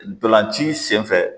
Ntolan ci sen fɛ